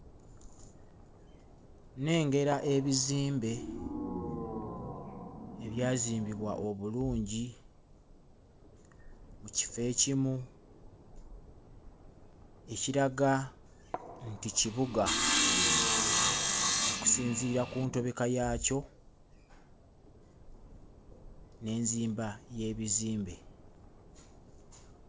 Nnengera ebizimbe ebyazimbibwa obulungi mu kifo ekimu ekiraga nti kibuga okusinziira ku ntobeka yaakyo n'enzimba y'ebizimbe.